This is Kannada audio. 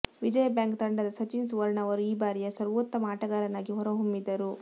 ವಿಜಯಾ ಬ್ಯಾಂಕ್ ತಂಡದ ಸಚಿನ್ ಸುವರ್ಣ ಅವರು ಈ ಬಾರಿಯ ಸರ್ವೋತ್ತಮ ಆಟಗಾರನಾಗಿ ಹೊರಹೊಮ್ಮಿದರು